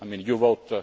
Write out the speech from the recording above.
I mean you vote